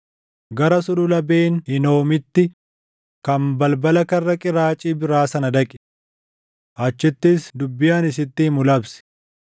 gara Sulula Ben Hinoomitti kan balbala karra qiraacii biraa sana dhaqi. Achittis dubbii ani sitti himu labsi;